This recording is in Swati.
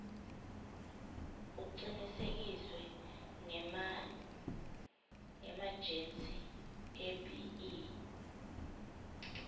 kucinisekiswe ngemaejensi ebee